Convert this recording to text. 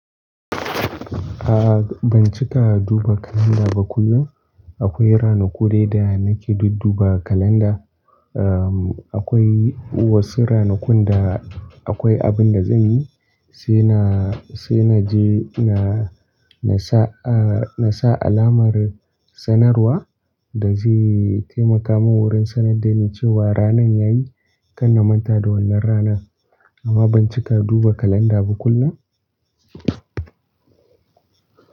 A'a ban cika duba kalanda ba kullum. Akwai ranaku dai da nake duba kalanda. Am, akwai wasu ranakun da akwai abin da zanyi sai na, sai naje na sa alamar sanarwa da zai taimaka min wurin sanar da ni cewa ranar yayi, kar na manta da wannan rana. Amma ban cika duba kalanda ba kullum.